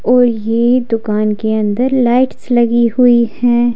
और ये दुकान के अंदर लाइट्स लगी हुई हैं।